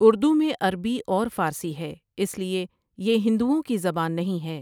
اردو میں عربی اور فارسی ہے اس لیے یہ ہندوؤں کی زبان نہیں ہے ۔